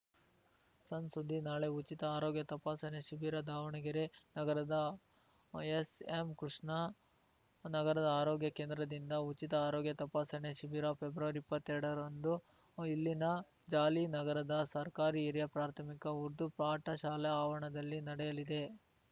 ಸಣ್‌ ಸುದ್ದಿ ನಾಳೆ ಉಚಿತ ಆರೋಗ್ಯ ತಪಾಸಣಾ ಶಿಬಿರ ದಾವಣಗೆರೆ ನಗರದ ಎಸ್‌ಎಂಕೃಷ್ಣ ನಗರ ಆರೋಗ್ಯ ಕೇಂದ್ರದಿಂದ ಉಚಿತ ಆರೋಗ್ಯ ತಪಾಸಣಾ ಶಿಬಿರ ಫೆಬ್ರವರಿಇಪ್ಪತ್ತೆರಡರಂದು ಇಲ್ಲಿನ ಜಾಲಿನಗರದ ಸರ್ಕಾರಿ ಹಿರಿಯ ಪ್ರಾಥಮಿಕ ಉರ್ದು ಪಾಠಶಾಲ ಆವರಣದಲ್ಲಿ ನಡೆಯಲಿದೆ